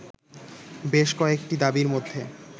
বেশ কয়েকটি দাবীর মধ্যে